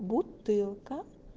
бутылка